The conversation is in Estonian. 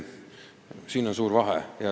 Siin on suur vahe.